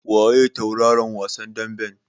Waye tauraron wasan daɓen?